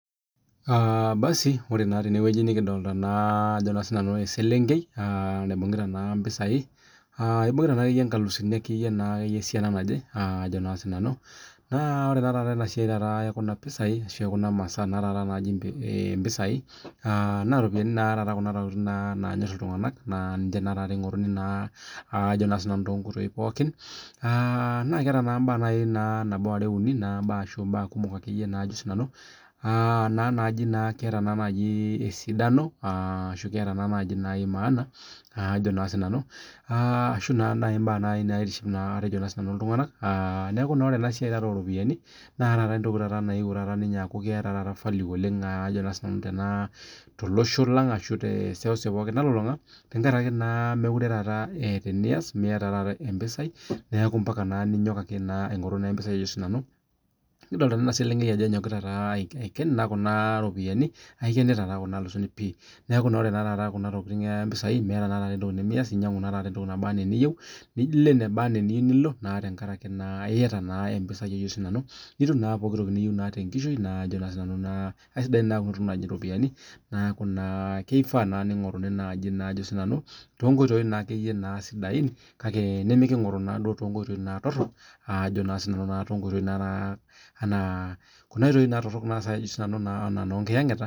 basi ore naa tenewueji nikidolita Ajo sinanu ee selenkei naibungieta mpishai ebung'ita naa akeyie nkalusini kumok akeyie naa ore taata ena siai ekuna masaa najii mpisai naa ntokitin naa taata Kuna nanyorie iltung'ana naa ninye eingoruni too nkoitoi pookin naa ketaa mbaa nabo are uni ashu mbaa Ajo naa sinanu ketaa esiadano ashu ketaa naajii maana ashu imbaa naitiship iltung'ana neeku ore enasiai oo ropiani naa entoki nayeuo aku ketaa value oleng tolosho lang ashu tee seuseu nalulung'a tenkaraki mekure etaa enias miata mpisai neeku mbaka ninyok ake naa aing'oru mpisai kidolita ena selenkei Ajo egira anyok Aiken Kuna ropiani aikeneta naa Kuna alusuni neeku ore taata mpisai meeta entoki nemeas enyiangu naa entoki nabaa enaa eniyieu niloo enebaa ena eniyieu tenkaraki naa eyata naa mpisai nitum naa pookin toki niyieu tenkaraki naa kisidan Kuna tokitin naaji ropiani neeku kifaa ningoruni naaji too nkoitoi sidai nimikingoru too nkoitoi torok Ajo naa sinanu enaa Kuna oitoi Ajo naa sinanu oo nkiyangetaa